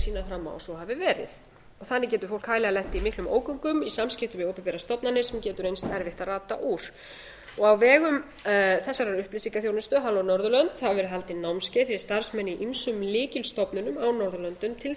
fram á að svo hafi verið þannig getur fólk hæglega lent í miklum ógöngum í samskiptum við opinberar stofnanir sem getur reynst erfitt að rata úr á vegum þessarar upplýsingaþjónustu halló norðurlönd hafa verið haldin námskeið fyrir starfsmenn í ýmsum lykilstofnunum á norðurlöndum til þess